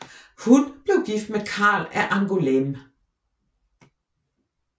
Hun blev gift med Karl af Angoulême